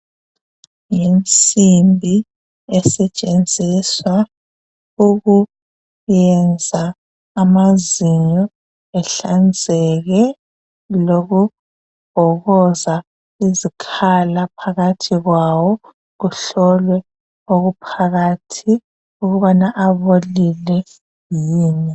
yinsimbi esetshenziswa ukugeza amazinyo ehlanzeke lokubhokoza izikhala phakathi kwawo kuhlolwe okuphakathi kwawo ukuthi abolile yini